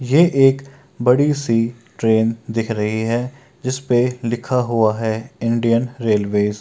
ये एक बड़ी सी ट्रैन दिख रही है जिसपे लिखा हुआ है इंडियन रेलवेज ।